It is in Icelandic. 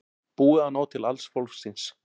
Búið að ná til alls fólksins